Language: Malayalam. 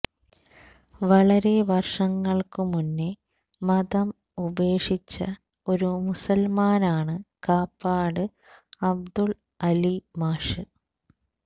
വളരെ വര്ഷങ്ങള്ക്കുമുന്നേ മതം ഉപേക്ഷിച്ച ഒരു മുസല്മാനാണ് കാപ്പാട് അബ്ദുള് അലി മാഷ്